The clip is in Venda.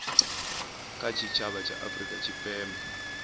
kha tshitshavha tsha afurika tshipembe